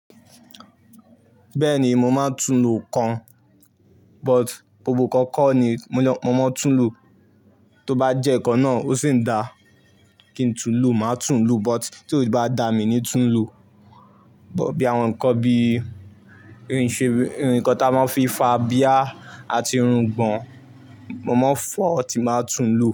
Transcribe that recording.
Bẹ́ẹ̀ni mo máa ń tún lò nkan, but gbogbo ǹkan kọ́ ni mo máa ń tún lò. Tó bá jẹ́ ǹkan náà ó sì ń da kí n tún lò, màá tún lò but tí ó bá da mí ní tún lò. But bí àwọn ǹkan bí ìrìnṣẹ́, ǹkan ti a máa ń fi fà abíyá àti irùngbọ̀n, mo máa fọ̀, tí máa tún lo.